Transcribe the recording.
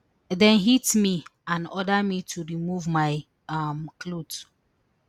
dem hit me and order me to remove my um clothes